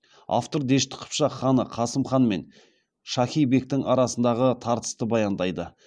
автор дешті қыпшақ ханы қасым хан мен шахи бектің арасындағы тартысты баяндайды